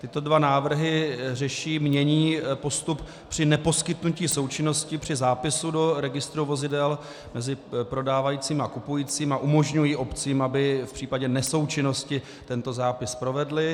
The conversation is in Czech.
Tyto dva návrhy řeší, mění postup při neposkytnutí součinnosti při zápisu do registru vozidel mezi prodávajícím a kupujícím a umožňují obcím, aby v případě nesoučinnosti tento zápis provedly.